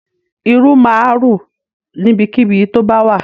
Irú máa rù níbikíbi tó bá wà.